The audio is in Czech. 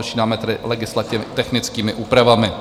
Začínáme tedy legislativně technickými úpravami.